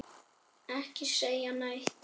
Ekki segja neitt!